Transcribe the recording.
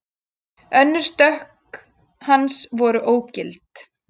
Tvö önnur stökk hans voru ógild